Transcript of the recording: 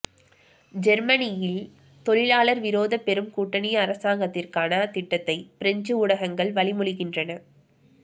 ஜேர்மனியில் தொழிலாளர் விரோத பெரும் கூட்டணி அரசாங்கத்திற்கான திட்டத்தை பிரெஞ்சு ஊடகங்கள் வழிமொழிகின்றன